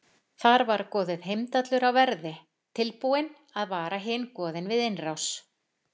Þar var goðið Heimdallur á verði, tilbúinn að vara hin goðin við innrás.